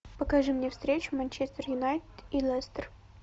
покажи мне встречу манчестер юнайтед и лестер